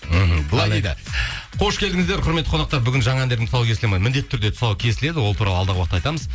мхм былай дейді қош келдіңіздер құрметті қонақтар бүгін жаңа әндердің тұсауы кесіледі ме міндетті түрде кесіледі ол туралы алдағы уақытта айтамыз